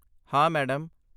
ਹਾਂ, ਮੈਡਮ।